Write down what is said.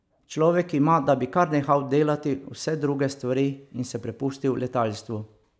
Človeka ima, da bi kar nehal delati vse druge stvari in se prepustil letalstvu.